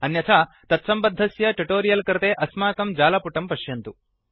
अन्यथा तत्सम्बद्धस्य ट्युटोरियल् कृते अस्माकं जालपुटं पश्यन्तु